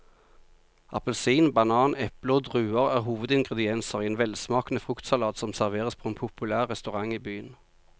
Appelsin, banan, eple og druer er hovedingredienser i en velsmakende fruktsalat som serveres på en populær restaurant i byen.